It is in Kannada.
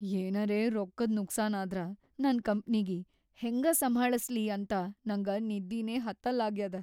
ಏನರೇ ರೊಕ್ಕದ್‌ ನುಕ್ಸಾನಾದ್ರ ನನ್‌ ಕಂಪ್ನಿಗಿ ಹೆಂಗ ಸಂಭಾಳಸ್ಲಿ ಅಂತ ನಂಗ ನಿದ್ದಿನೇ ಹತ್ತಲ್ಲಾಗ್ಯಾದ.